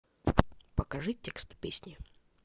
покажи текст песни